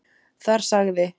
Þar sagði